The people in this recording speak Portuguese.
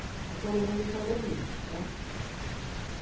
Está todo mundo em condomínio né.